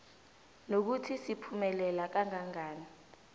nokuthi siphumelela kangangani